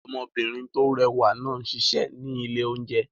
Ọmọbìnrin tó rẹwà náà ń ṣiṣẹ́ ní ilé-oúnjẹ